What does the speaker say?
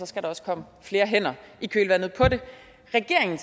skal også komme flere hænder i kølvandet på det regeringen